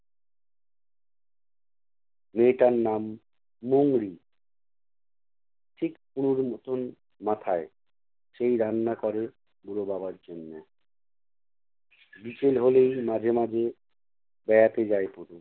মেয়েটার নাম মোংরী। ঠিক তনুর মতোন মাথায়, সেই রান্না করে বুড়ো বাবার জন্য। বিকেল হলেই মাঝে মাঝে বেড়াতে চায় তনু।